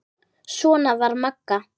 Svona var Magga.